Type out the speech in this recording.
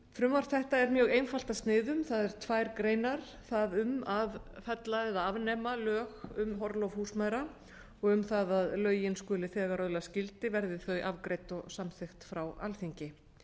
frumvarp þetta er mjög einfalt að sniðum það eru tvær greinar þar um að fella eða afnema lög um orlof húsmæðra og um það að lögin skuli þegar öðlast gildi verði þau afgreidd og samþykkt frá alþingi